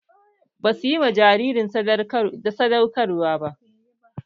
Ba suyi ma jaririn sadaukar ba